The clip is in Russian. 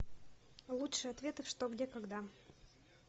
лучшие ответы в что где когда